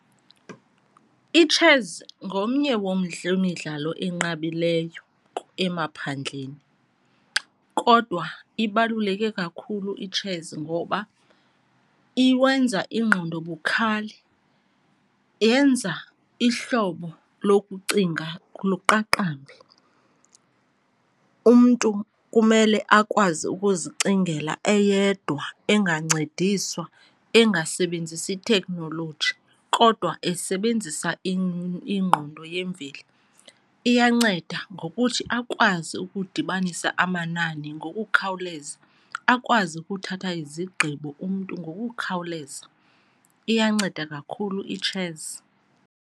Itshesi ngomnye wemidlalo enqabileyo emaphandleni kodwa ibaluleke kakhulu itshesi ngoba iwenza ingqondo bukhali, yenza ihlobo lokucinga luqaqambe. Umntu kumele akwazi ukuzicingela eyedwa engakuncediswa, engasebenzisi thekhnoloji, kodwa esebenzisa ingqondo yemveli. Iyanceda ngokuthi akwazi ukudibanisa amanani ngokukhawuleza, akwazi ukuthatha izigqibo umntu ngokukhawuleza. Iyanceda kakhulu itshesi.